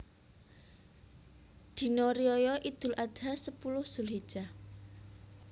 Dina Riyaya Idul Adha sepuluh Zulhijjah